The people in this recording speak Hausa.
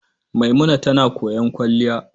Maimuna tana koyon kwalliya.